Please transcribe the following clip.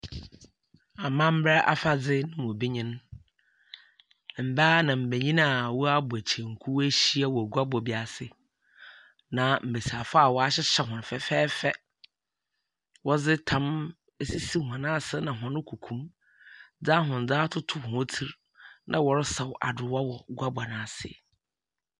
Amamber afadze mu bi nyen. Mbaa ne mbenyin a wɔabɔ kyenku woehyia wɔ guabɔ bi ase, na mbesiafo a wɔahyehyɛ wɔ hɔn fɛɛfɛɛfɛ, wɔdze tam esisi hɔn ase na hɔn kokomu, dze ahwendze atoto hɔn tsir, na wɔresaw adowa wɔ guabɔ no ase.